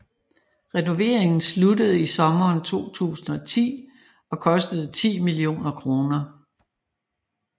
Renoveringen sluttede i sommeren 2010 og kostede 10 millioner kroner